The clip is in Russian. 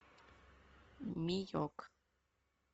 миек